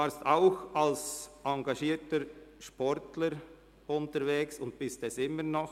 Sie waren auch als engagierter Sportler unterwegs und sind es immer noch.